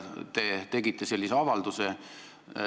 Te tegite sellise avalduse.